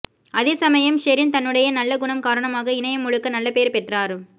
அதே சமயம் ஷெரீன் தன்னுடைய நல்ல குணம் காரணமாக இணையம் முழுக்க நல்ல பெயர் பெற்றார்